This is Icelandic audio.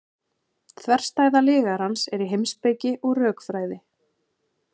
þverstæða lygarans er í heimspeki og rökfræði